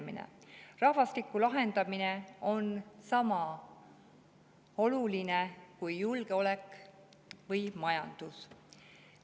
Rahvastiku lahendamine on sama oluline kui julgeolek või majandus.